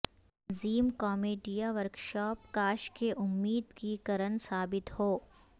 تنظیم کامیڈیاورکشاپ کاش کہ امید کی کرن ثابت ہو